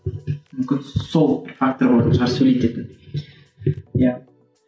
мүмкін сол фактор болатын шығар сөйлететін иә